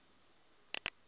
near lake chad